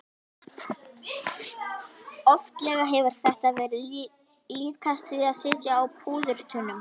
Oftlega hefur þetta verið líkast því að sitja á púðurtunnu.